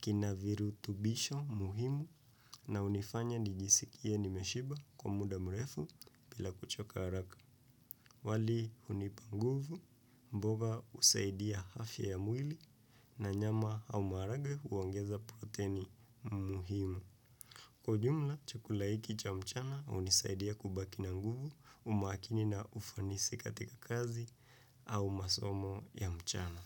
kina virutubisho muhimu na unifanya nijisikie nimeshiba kwa muda mrefu bila kuchoka haraka. Wali unipanguvu mboga usaidia afya ya mwili na nyama au marage uongeza proteni muhimu. Kwa ujumla chukula hiki cha mchana unisaidia kubaki na nguvu umakini na ufanisi katika kazi au masomo ya mchana.